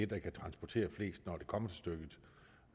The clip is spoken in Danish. der kan transportere flest når det kommer til stykket